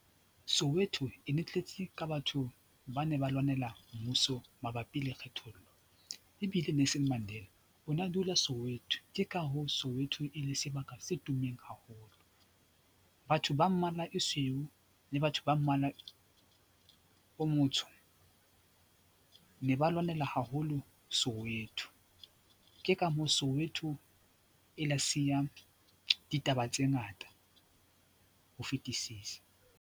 Soweto e ne e tletse ka batho ba ne ba lwanela mmuso mabapi le kgethollo ebile Nelson Mandela o na dula Soweto, ke ka hoo Soweto e le sebaka se tummeng haholo. Batho ba mmala e sweu le batho ba mmala o motsho ne ba lwanela haholo Soweto ke ka moo Soweto e la siya ditaba tse ngata ho fetisisa.